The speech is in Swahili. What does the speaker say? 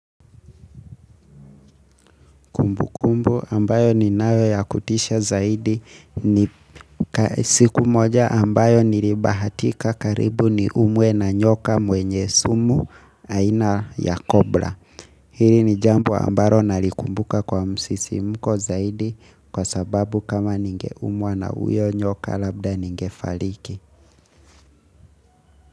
Kumbukumbu ambayo ninayo ya kutisha zaidi ni siku moja ambayo nilibahatika karibu niumwe na nyoka mwenye sumu aina ya cobra. Hili ni jambo ambalo nalikumbuka kwa msisimko zaidi kwasababu kama ningeumwa na huyo nyoka labda ningefariki.